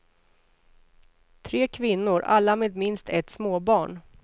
Tre kvinnor, alla med minst ett småbarn.